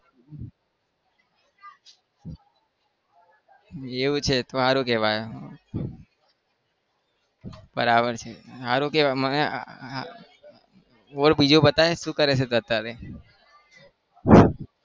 એવું છે તો સારું કહેવાય. બરાબર છે સારું કહેવાય મને બોલ બીજું બતાય શું કરે અત્યારે?